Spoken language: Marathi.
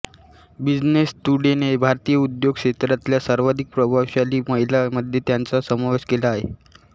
बिझनेस टुडेने भारतीय उद्योग क्षेत्रातल्या सर्वाधिक प्रभावशाली महिलांमध्ये त्यांचा समावेश केला आहे